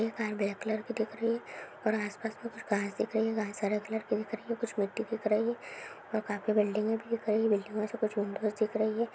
ये car black colour की दिख रही है और आस पास कुछ घास दिख रही है घास हरे कलर की दिख रही है कुछ मिटी की तरह ही है और काफी बिल्डिंगए भी है कई बिल्डिंग पे कुछ दिख रही है।